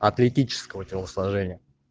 атлетического телосложения